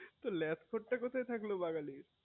তোর laptop টা কোথায় থাকলো বাঙালির